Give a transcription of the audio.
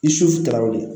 I sutara o de